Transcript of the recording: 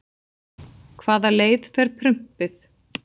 Hvaða leið fer prumpið?